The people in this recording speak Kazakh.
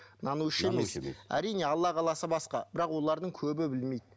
нанушы емес әрине алла қаласа басқа бірақ олардың көбі білмейді